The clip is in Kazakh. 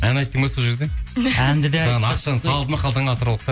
ән айттың ба сол жерде әнді де айттық саған ақшаны салды ма қалтаңа атыраулықтар